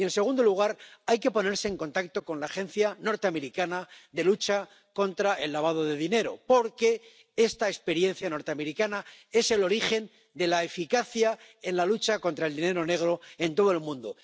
Y, en segundo lugar, hay que ponerse en contacto con la agencia norteamericana de lucha contra el lavado de dinero, porque esta experiencia norteamericana es el origen de la eficacia en la lucha contra el dinero negro en todo el mundo.